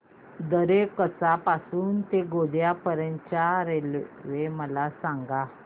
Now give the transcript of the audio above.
दरेकसा पासून ते गोंदिया पर्यंत च्या रेल्वे मला सांगा